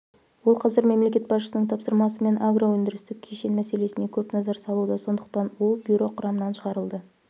ол қазір мемлекет басшысының тапсырмасымен агроөндірістік кешен мәселесіне көп назар салуда сондықтан ол бюро құрамынан шығарылды